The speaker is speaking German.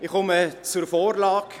Ich komme zur Vorlage.